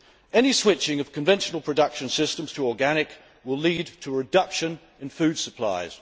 Any switching of conventional production systems to organic will lead to a reduction in food supplies.